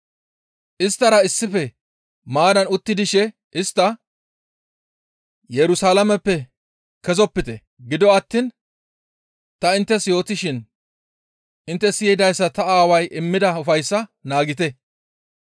Isttara issife maaddan utti dishe istta, «Yerusalaameppe kezopite; gido attiin ta inttes yootishin intte siyidayssa ta Aaway immida ufayssaa naagite.